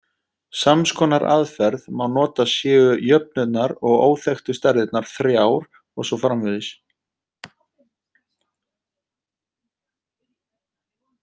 Sams konar aðferð má nota séu jöfnurnar og óþekktu stærðirnar þrjár og svo framvegis.